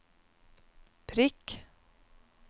prikk